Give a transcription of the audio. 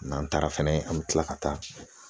N'an taara fɛnɛ an bi kila ka taa